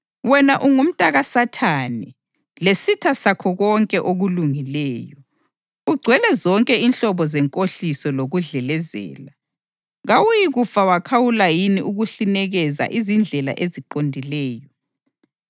“Wena ungumntakaSathane lesitha sakho konke okulungileyo! Ugcwele zonke inhlobo zenkohliso lokudlelezela. Kawuyikufa wakhawula yini ukuhlinikeza izindlela eziqondileyo?